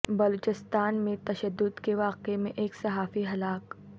بلوچستان میں تشدد کے واقعہ میں ایک صحافی ہلاک